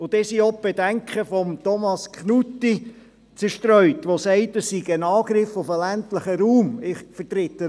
Damit sind auch die Bedenken von Thomas Knutti zerstreut, der sagt, dass dies ein Angriff auf den ländlichen Raum sei.